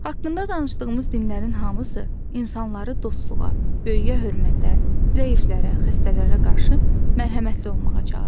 Haqqında danışdığımız dinlərin hamısı insanları dostluğa, böyüyə hörmətə, zəiflərə, xəstələrə qarşı mərhəmətli olmağa çağırır.